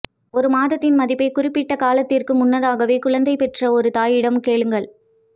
ஒரு மாதத்தின் மதிப்பை குறிப்பிட்டக் காலத்திற்கு முன்னதாகவே குழந்தை பெற்ற ஒரு தாயிடம் கேளுங்கள்